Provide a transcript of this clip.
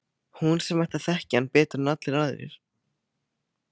Hún sem ætti að þekkja hann betur en allir aðrir.